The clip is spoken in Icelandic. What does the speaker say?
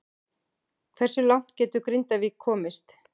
Hversu langt getur Grindavík komist?